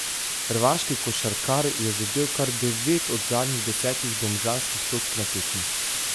Hrvaški košarkar je zadel kar devet od zadnjih desetih domžalskih točk na tekmi.